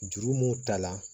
Juru mun ta la